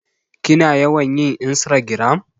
Kina yawan yin insragiram?